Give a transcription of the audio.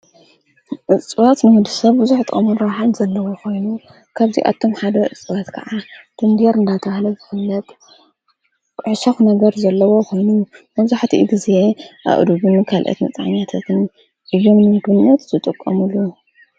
እጽዋት ንወዲ ሰብ ብዙኅት ጥቅሚ ረብሓ ዘለዎ ኾይኑ ካብዚኣቶም ሓደ እፅዋት ከዓ ዳንደር እናተብሃለ ዝፍለጥ ሕሳኹ ነገር ዘለዎ ኾይኑ መብዛህቲኡ ጊዜ ኣእዱግን ካልአት መጽኛተትን ኢዮም ንምግብነት ዝጠቖሙሉ